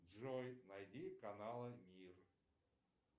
джой найди каналы мир